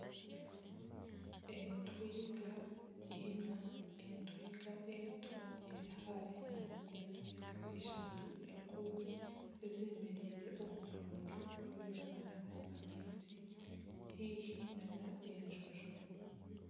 Entwinga ina, entwinga ento eri hare nana entwinga ishatu enkuru ezeemereire omu byondo ebirimu nana amaizi haihi nana enjonjo.